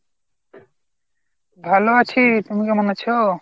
ভালো আছি, তুমি কেমন আছো?